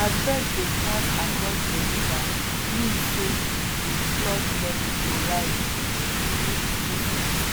as birds dey pass across d river mean sey dey flood level go rise reach two feet